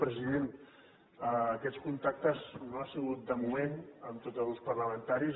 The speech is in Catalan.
president aquests contactes no hi han sigut de moment amb tots els grups parlamentaris